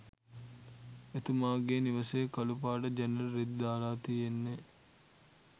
එතුමගේ නිවසේ කලු පාට ජනෙල් රෙදි දාලා තියෙන්නේ